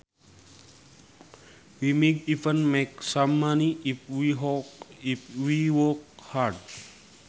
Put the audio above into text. We might even make some money if we work hard